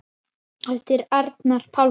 eftir Arnar Pálsson